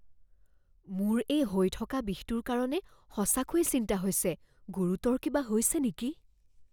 মোৰ এই হৈ থকা বিষটোৰ কাৰণে সঁচাকৈয়ে চিন্তা হৈছে। গুৰুতৰ কিবা হৈছে নেকি?